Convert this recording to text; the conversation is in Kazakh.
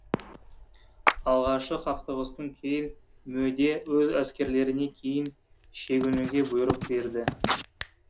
алғашкы қақтығыстан кейін мөде өз әскерлеріне кейін шегінуге бұйрық берді